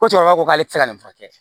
Ko cɛkɔrɔba ko k'ale tɛ se ka nin furakɛ